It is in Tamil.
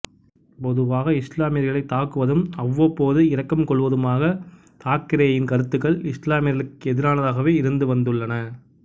பொதுவாக இசுலாமியர்களை தாக்குவதும் அவ்வப்போது இரக்கம் கொள்வதுமாக தாக்கரேயின் கருத்துக்கள் இஸ்லாமியர்களுக்கு எதிரானதாகவே இருந்து வந்துள்ளன